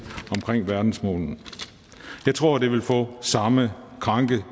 omkring verdensmålene jeg tror det vil få samme kranke